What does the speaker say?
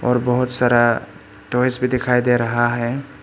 और बहुत सारा टॉयज भी दिखाई दे रहा है।